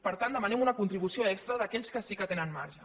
per tant demanem una contribució extra d’aquells que sí que tenen marge